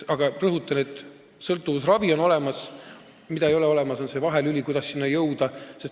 Ma rõhutan, et sõltuvusravi on olemas, olemas ei ole seda vahelüli, kuidas selleni jõuda.